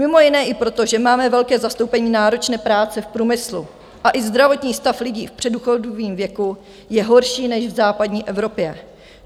Mimo jiné i proto, že máme velké zastoupení náročné práce v průmyslu a i zdravotní stav lidí v předdůchodovém věku je horší než v západní Evropě.